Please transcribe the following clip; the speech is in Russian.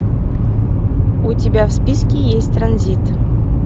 у тебя в списке есть транзит